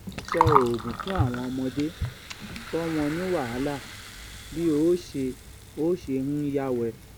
so oogun fún àwọn ọmọdé to won ni wahala bi o ṣe o ṣe ń yáwẹ